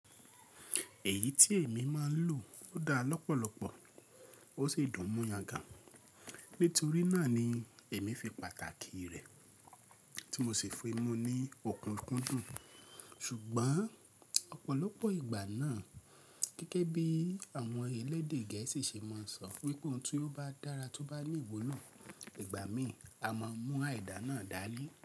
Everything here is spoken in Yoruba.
Èyí tí èmi máa ń lò dá lọ́pọ̀lọpọ̀ ó sì dùn mú yangàn Nítorí náà ni èmi fi pàtàkì rẹ̀ tí mo sì fi mu ní òkúnkúndùn. Ṣùgbọ́n ọ̀pọ̀lọpọ̀ ìgbà náà, gẹ́gẹ́ bí àwọn elédè Gẹ̀ẹ́sì ṣe máa ń sọ wípé ohun tó bá dára tó bá ní ìwúlò ìgbà mìí a máa mú àìdá náà dání.